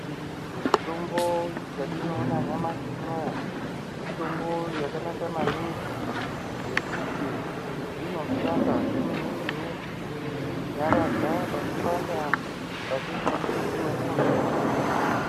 Mitombo yatinoona nyamashi unowu , mitombo yakanaka maningi, ngekuti inoshandazve nemumweni kunyaradza panopanda mukati mwemutumbi wemuntu.